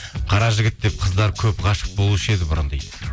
қара жігіт деп қыздар көп ғашық болушы еді бұрын дейді